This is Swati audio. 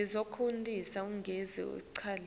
etindlini sikhanyisa gezi